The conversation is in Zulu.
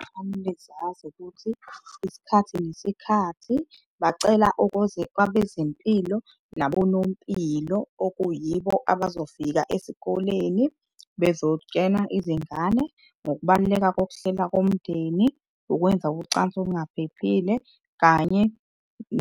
Kufanele zazi ukuthi isikhathi nesikhathi bacela kwabezempilo nabonompilo okuyibo abazofika esikoleni izingane ngokubaluleka kokuhlela umndeni, ukwenza ucansi olungaphephile, kanye